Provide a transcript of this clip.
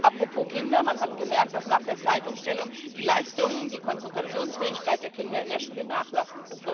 Apropos Kinder Man hat gemerkt, dass nach der Zeitumstellung die Leistungen, die Konzentrationsfähigkeit der Kinder in der Schule nachlassen.